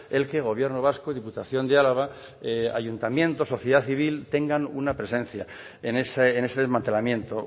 el que el gobierno vasco y diputación de álava ayuntamientos sociedad civil tengan una presencia en ese desmantelamiento